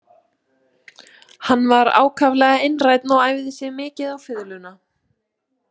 Hann var ákaflega einrænn og æfði sig mikið á fiðluna.